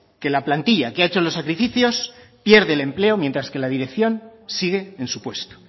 que la plantilla que ha hecho los sacrificios pierde el empleo mientras que la dirección sigue en su puesto